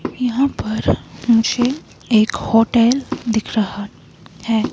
यहाँ पर मुझे एक होटल दिख रहा है।